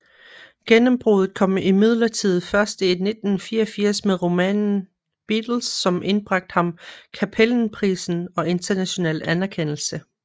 Gennembruddet kom imidlertid først i 1984 med romanen Beatles som indbragte ham Cappelenprisen og international anerkendelse